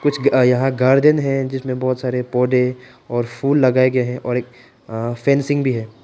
यहां गार्डन है जिसमें बहुत सारे पौधे और फूल लगाए गए हैं और फेंसिंग भी है।